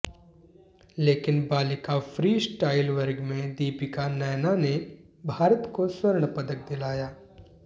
लेकिन बालिका फ्रीस्टाइल वर्ग में दीपिका नैना ने भारत को स्वर्ण पदक दिलाया